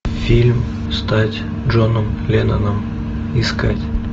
фильм стать джоном ленноном искать